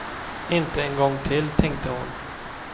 Inte en gång till, tänkte hon.